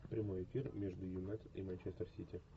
прямой эфир между юнайтед и манчестер сити